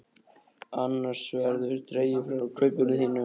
Annars verður dregið frá kaupinu þínu.